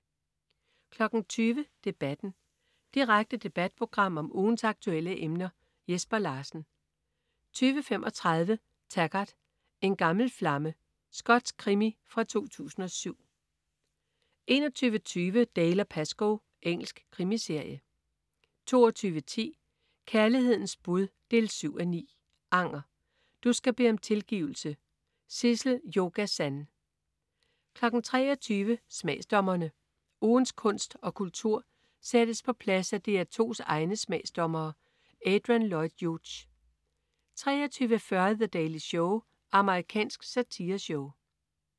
20.00 Debatten. Direkte debatprogram om ugens aktuelle emner. Jesper Larsen 20.35 Taggart: En gammel flamme. Skotsk krimi fra 2007 21.20 Dalziel & Pascoe. Engelsk krimiserie 22.10 Kærlighedens bud 7:9. Anger. Du skal bede om tilgivelse. Sissel-Jo Gazan 23.00 Smagsdommerne. Ugens kunst og kultur sættes på plads af DR2's egne smagsdommere. Adrian Lloyd Hughes 23.40 The Daily Show. Amerikansk satireshow